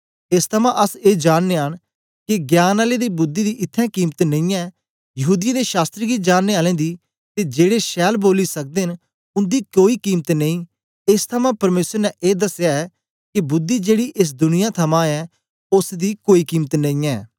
एस थमां अस ए जाननयां न के ज्ञान आलें दी बुद्धि दी इत्त्थैं कीमत नेई यहूदीयें दे शास्त्र गी जाननें आलें दी ते जेड़े छैल बोली सकदे न उन्दी कोई कीमत नेई एस थमां परमेसर ने ए दसया ऐ के बुद्धि जेड़ी एस दुनिया थमां ऐ ओसदी कोई कीमत नेई ऐ